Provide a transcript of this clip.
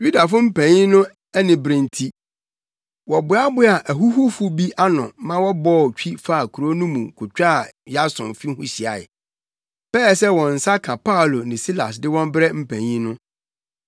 Yudafo mpanyin no anibere nti, wɔboaboaa ahuhufo bi ano ma wɔbɔɔ twi faa kurow no mu kotwaa Yason fi ho hyiae, pɛɛ sɛ wɔn nsa ka Paulo ne Silas de wɔn brɛ mpanyin no.